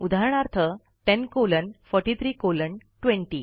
उदाहरणार्थ 10 colon 43 colon 20